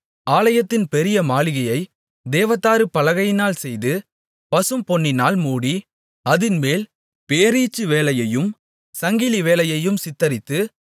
ஆலயத்தின் பெரிய மாளிகையைத் தேவதாரு பலகைகளினால் செய்து பசும்பொன்னினால் மூடி அதின்மேல் பேரீச்சுவேலையையும் சங்கிலிவேலையையும் சித்தரித்து